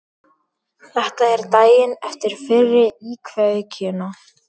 Þetta er daginn eftir fyrri íkveikjuna.